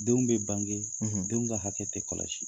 Denw bɛ bange denw ka hakɛ tɛ kɔlɔsi.